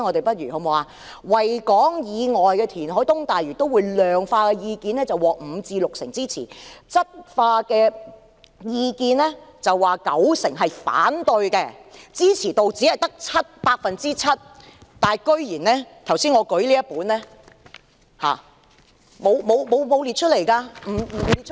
對於在維港以外填海及東大嶼都會的量化意見，是五成至六成支持，質化意見是九成反對，支持度只有 7%， 但我剛才舉起的這份意見書卻竟然沒有列出來。